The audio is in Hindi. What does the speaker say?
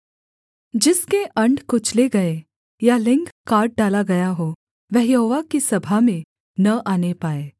जिसके अण्ड कुचले गए या लिंग काट डाला गया हो वह यहोवा की सभा में न आने पाए